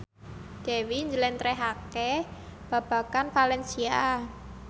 Dewi njlentrehake babagan valencia